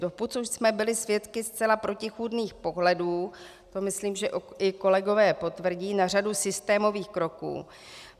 Doposud jsme byli svědky zcela protichůdných pohledů, to myslím, že i kolegové potvrdí, na řadu systémových kroků.